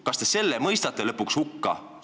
Kas te lõpuks selle mõistate hukka?